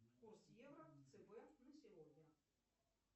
курс евро в цб на сегодня